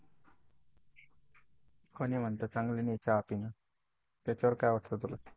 कोणी म्हणते चांगलं नाही चहा पिणं? त्याच्यावर काय वाटतं तुला?